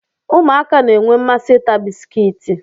Ụmụaka na-enwe mmasị ịta bisikiiti.